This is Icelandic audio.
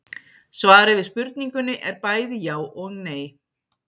Svarið við spurningunni er bæði já og nei.